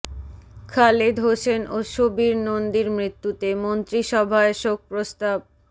খালিদ হোসেন ও সুবীর নন্দীর মৃত্যুতে মন্ত্রিসভায় শোক প্রস্তাব